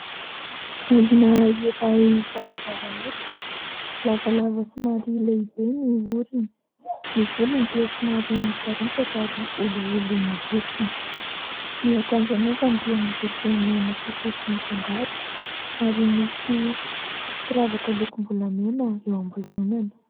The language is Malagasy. Olona iray zarazara hoditra, lavalava somary lehibe ny orony. Ny volony dia somary misaritaka ary olioly mibontsina. Ny akanjo anaovany dia miloko mena sy fotsy mifangaro ary misy firavaka lokom-bolamena eo ambozonany.